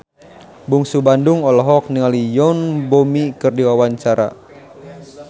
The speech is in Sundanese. Bungsu Bandung olohok ningali Yoon Bomi keur diwawancara